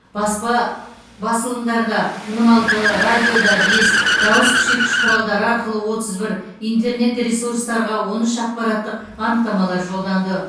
баспа басылымдарда он алты радиода бес дауыс күшейткіш құралдары арқылы отыз бір интернет ресурстарға он үш ақпараттық анықтамалар жолданды